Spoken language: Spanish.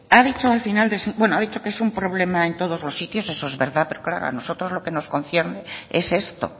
ha dicho al final de su bueno ha dicho que es un problema en todos los sitios eso es verdad pero claro a nosotros lo que nos concierne es esto